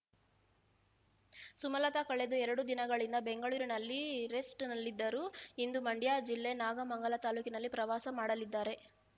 ಸುಮಲತಾ ಕಳೆದ ಎರಡು ದಿನಗಳಿಂದ ಬೆಂಗಳೂರಿನಲ್ಲಿ ರೆಸ್ಟ್ ನಲ್ಲಿದ್ದರು ಇಂದು ಮಂಡ್ಯ ಜಿಲ್ಲೆ ನಾಗಮಂಗಲ ತಾಲೂಕಿನಲ್ಲಿ ಪ್ರವಾಸ ಮಾಡಲಿದ್ದಾರೆ